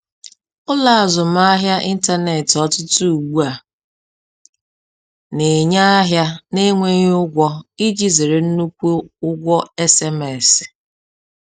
Ụlọ azụmahịa ịntanetị ọtụtụ ugbu a na-enye ahịa na-enweghị ụgwọ iji zere nnukwu ụgwọ SMS